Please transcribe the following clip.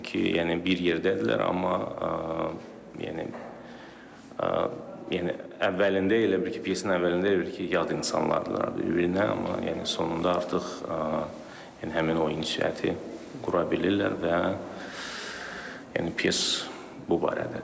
Çünki yəni bir yerdədirlər, amma yəni yəni əvvəlində elə bil ki, pyasının əvvəlində elə bil ki, yad insanlardır, bir-birinə amma yəni sonunda artıq həmin o inşaatı qura bilirlər və yəni pyas bu barədədir.